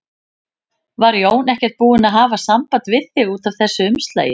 Var Jón ekkert búinn að hafa samband við þig út af þessu umslagi?